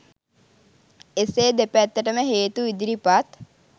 එසේ දෙපැත්තටම හේතු ඉදිරිපත්